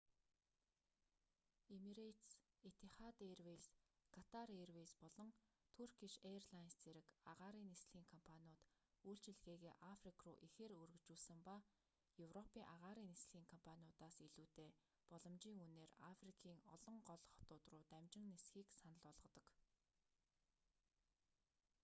эмирэйтес этихад эйрвэйз катар эйрвэйз болон туркиш эйрлайнс зэрэг агаарын нислэгийн компаниуд үйлчилгээгээ африк руу ихээр өргөжүүлсэн ба европын агаарын нислэгийн компаниудаас илүүтэй боломжийн үнээр африкийн олон гол хотууд руу дамжин нисэхийг санал болгодог